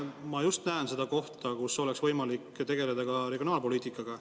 Ma näen siin seda kohta, kus oleks võimalik tegeleda ka regionaalpoliitikaga.